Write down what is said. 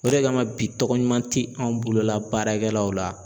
O de kama bi tɔgɔ ɲuman tɛ anw bolola baarakɛlaw la.